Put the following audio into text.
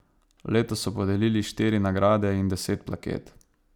Letos so podelili štiri nagrade in deset plaket.